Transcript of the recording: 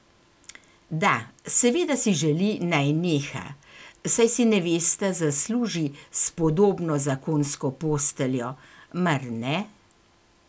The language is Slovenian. Da, seveda si želi, naj neha, saj si nevesta zasluži spodobno zakonsko posteljo, mar ne?